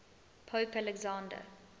pope alexander